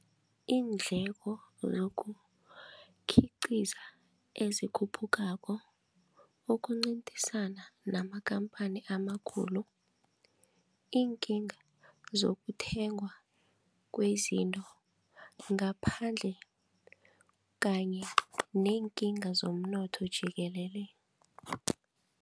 Iindleko zokukhiqiza ezikhuphukako, ukuncedisana namakhamphani amakhulu, iinkinga zokuthengwa kwezinto ngaphandle kanye neenkinga zomnotho jikelele.